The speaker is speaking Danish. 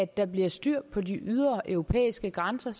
der bliver styr på de ydre europæiske grænser